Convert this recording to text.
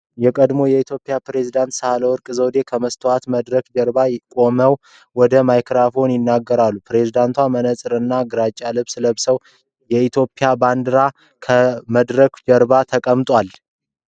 የቀድሞ የኢትዮጵያ ፕሬዝደንት ሳህለወርቅ ዘውዴ ከመስታወት መድረክ ጀርባ ቆመው ወደ ማይክሮፎን ይናገራሉ። ፕሬዝደንቷ መነጽር እና ግራጫ ልብስ ለብሰዋል። የኢትዮጵያ ባንዲራ ከመድረኩ ጀርባ ተቀምጧል።